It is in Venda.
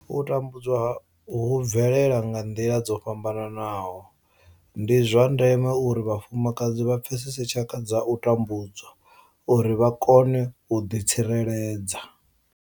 U tambudzwa hu bvelela nga nḓila dzo fhambanaho nahone ndi zwa ndeme uri vhafumakadzi vha pfesese tshaka dza u tambudzwa uri vha kone u ḓi tsireledza.